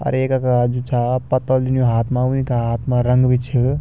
अर येक यखा का जु छा